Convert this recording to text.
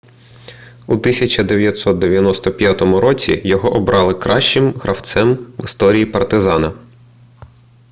у 1995 році його обрали кращим гравцем в історії партизана